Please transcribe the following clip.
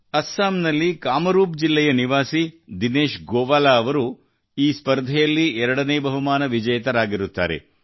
ಅಸ್ಸಾಂನಲ್ಲಿ ಕಾಮರೂಪ್ ಜಿಲ್ಲೆಯ ನಿವಾಸಿ ದಿನೇಶ್ ಗೋವಾಲಾ ಅವರು ಈ ಸ್ಪರ್ಧೆಯಲ್ಲಿ ಎರಡನೇ ಬಹುಮಾನ ವಿಜೇತರಾಗಿತ್ತಾರೆ